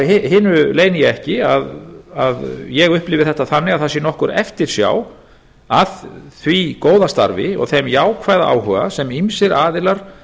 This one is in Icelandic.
hinu leyni ég ekki að ég upplifi þetta þannig að það sé nokkur eftirsjá að því góða starfi og þeim jákvæða áhuga sem ýmsir aðilar